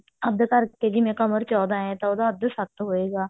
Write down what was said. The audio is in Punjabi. ਅੱਧ ਕਰਕੇ ਜਿਵੇਂ ਕਮਰ ਚੋਦਾਂ ਹੈ ਤਾਂ ਉਹਦਾ ਅੱਧ ਸੱਤ ਹੋਏਗਾ